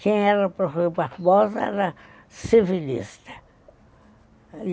Quem era o professor Barbosa era civilista.